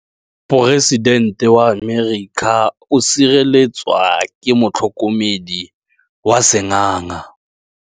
Poresitêntê wa Amerika o sireletswa ke motlhokomedi wa sengaga.